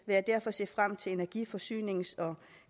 jeg derfor se frem til energi forsynings og